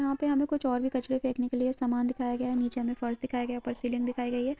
यहाँ पे हमे कुछ और भी कचरे फेकने के लिए समान दिखाया गया है नीचे हमे फर्श दिखाया गया है ऊपर सीलिंग दिखाई गई है।